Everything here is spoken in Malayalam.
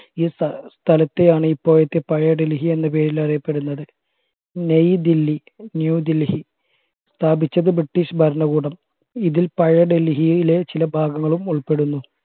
ഈ സ്ഥ സ്ഥലത്തെയാണ് ഇപ്പോഴത്തെ പഴയ ഡൽഹി എന്ന പേരിൽ അറിയപ്പെടുന്നത് നയിദില്ലി ന്യൂഡൽഹി സ്ഥാപിച്ചത് british ഭരണകൂടം ഇതിൽ പഴയ ഡൽഹിയിലെ ചില ഭാഗങ്ങളും ഉൾപ്പെടുന്നു